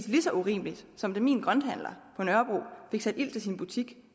lige så urimeligt som da min grønthandler på nørrebro fik sat ild til sin butik